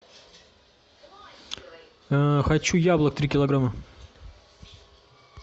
хочу яблок три килограмма